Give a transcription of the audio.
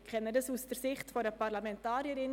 Ich kenne dies aus Sicht einer Parlamentarierin.